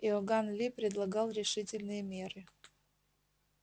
иоганн ли предлагал решительные меры